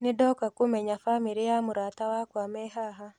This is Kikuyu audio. Nĩndoka kũmenya bamĩrĩ ya mũrata wakwa me haha.